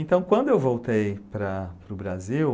Então, quando eu voltei para para o Brasil,